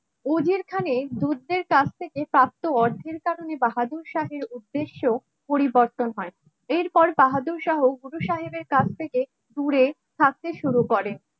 উজির খানে দুধের কাছ থেকে কাস্তে অর্ধেক কারণে বাহাদুর শাহের উদ্দেশ্য পরিবর্তন হয় এরপর বাহাদুর সহ কুটু সাহেবের কাছ থেকে দূরে থাকতে শুরু করে